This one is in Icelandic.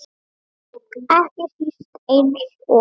Ekki síst eins og